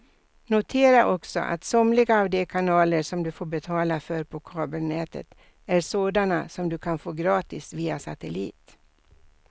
Notera också att somliga av de kanaler som du får betala för på kabelnätet är sådana som du kan få gratis via satellit.